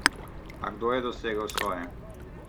A kdo je dosegel svoje?